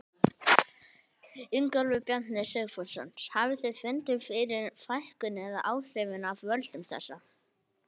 Ingólfur Bjarni Sigfússon: Hafið þið fundið fyrir fækkun eða áhrifum af völdum þessa?